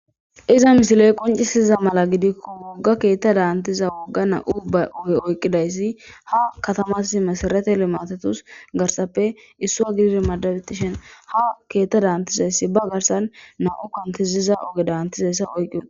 Iza misiley qoncisiza mala gidikko wogga keetta daantiza wogga na'u ba oge oyqqidayssi ha katamas mesarate limatetus garsappe issua gidir madabetishen ha keetta daantizayssi ba garsan na'u kantiziza oge daantizayssa oyqqid.